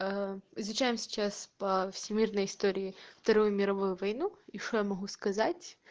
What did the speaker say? изучаем сейчас по всемирной истории вторую мировую войну и что я могу сказать